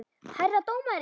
Herra dómari!